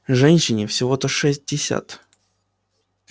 женщине всего-то шестьдесят